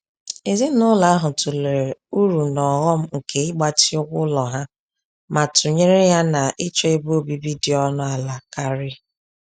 Ezinụlọ ahụ tụlere uru na ọghọm nke ịgbatị ụgwọ ụlọ ha ma tụnyere ya na ịchọ ebe obibi dị ọnụ ala karị.